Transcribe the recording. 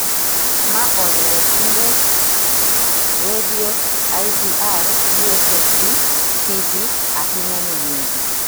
Ma oriwo simbe redio, IVR, USSD, TV ahinya ne nyiri